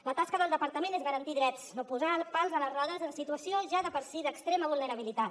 la tasca del departament és garantir drets no posar pals a les rodes en situacions ja de per si d’extrema vulnerabilitat